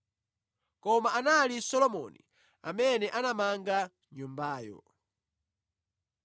Koma anali Solomoni amene anamanga nyumbayo.